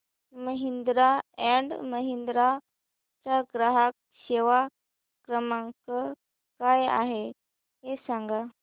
Mahindra and Mahindra चा ग्राहक सेवा क्रमांक काय आहे हे सांगा